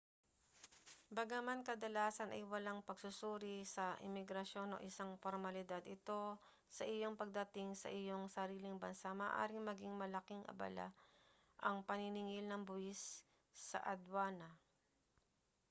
bagaman kadalasan ay walang pagsusuri sa imigrasyon o isang pormalidad ito sa iyong pagdating sa iyong sariling bansa maaaring maging malaking abala ang paniningil ng buwis sa adwana